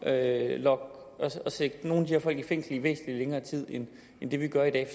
at sætte nogle her folk i fængsel i væsentlig længere tid end det vi gør i dag